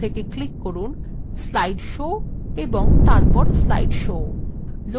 মুখ্য menu থেকে click from slide show এবং তারপর slide show